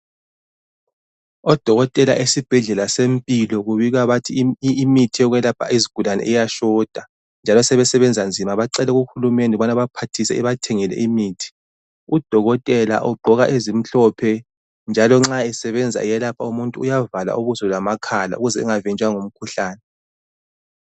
Odokotela esibhedlela seMpilo kubika bathi imithi yokwelapha izigulane iyashota njalo sebesebenza nzima. Bacele kuHulumende ukubana abaphathise ebathengele imithi. Udokotela ugqoka ezimhlophe njalo nxa esebenza eyelapha umuntu uyavala ubuso lamakhala ukuze engavinjwa ngumkhuhlane.